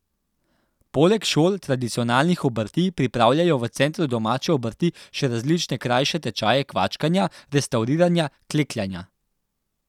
Poleg šol tradicionalnih obrti pripravljajo v centru domače obrti še različne krajše tečaje kvačkanja, restavriranja, klekljanja...